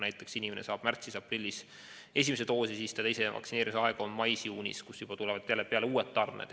Näiteks kui inimene saab esimese doosi märtsis-aprillis, siis tema teine vaktsineerimise aeg on mais-juunis, kui tulevad peale juba uued tarned.